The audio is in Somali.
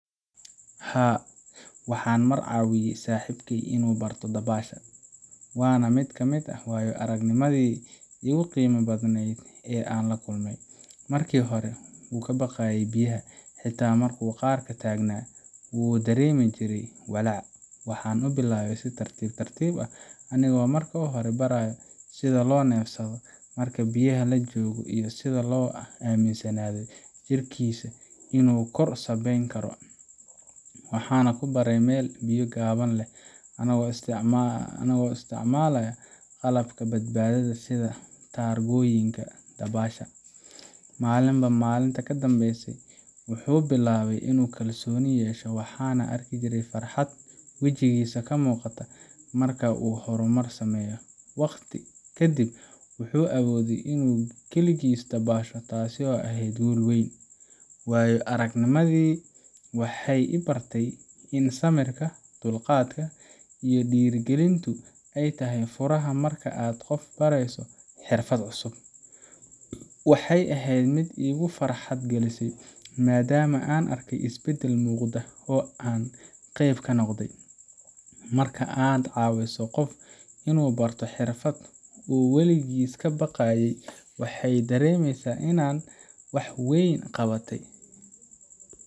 Haa, waxaan mar caawiyay saaxiibkey inuu barto dabaasha, waana mid ka mid ah waayo aragnimadii ugu qiimaha badnayd ee aan la kulmay. Markii hore, wuu ka baqayay biyaha, xitaa markuu qarka taagnaa wuu dareemi jiray walaac. Waxaan u bilaabay si tartiib tartiib ah, anigoo marka hore baray sida loo neefsado marka biyaha la joogo iyo sida loo aaminsanaado jirkiisa inuu kor sabeyn karo. Waxaan ku baray meel biyo gaagaaban leh, annagoo isticmaala qalabka badbaadada sida taargooyinka dabaasha. Maalinba maalinta ka dambeysa wuxuu bilaabay inuu kalsooni yeesho, waxaan arki jiray farxad wajigiisa ka muuqata marka uu horumar sameeyo. Waqti ka dib wuxuu awooday inuu kaligiis dabaasho, taasoo ahayd guul weyn. Waayo aragnimadani waxay i bartay in samirka, dulqaadka, iyo dhiirrigelintu ay tahay furaha marka aad qof barayso xirfad cusub. Waxay ahayd mid igu farxad gelisay, maadaama aan arkay isbeddel muuqda oo aan qeyb ka noqday. Marka aad caawiso qof inuu barto xirfad uu waligiis ka baqayay, waxaay dareemaysaa inaad wax weyn qabatay,